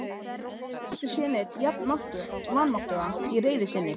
Hann hafði aldrei séð neinn jafn vanmáttugan í reiði sinni.